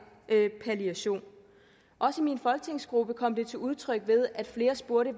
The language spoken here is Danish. palliation også i min folketingsgruppe kom det til udtryk ved at flere spurgte